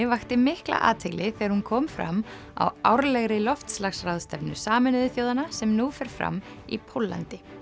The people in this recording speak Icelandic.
vakti mikla athygli þegar hún kom fram á árlegri loftslagsráðstefnu Sameinuðu þjóðanna sem nú fer fram í Póllandi